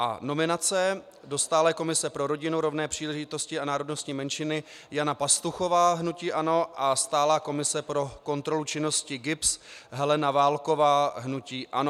A nominace: do stálé komise pro rodinu, rovné příležitosti a národnostní menšiny Jana Pastuchová, hnutí ANO, a stálé komise pro kontrolu činnosti GIBS Helena Válková, hnutí ANO.